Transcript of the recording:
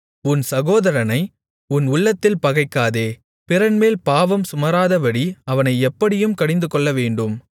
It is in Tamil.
உன் சகோதரனை உன் உள்ளத்தில் பகைக்காதே பிறன்மேல் பாவம் சுமராதபடி அவனை எப்படியும் கடிந்து கொள்ளவேண்டும்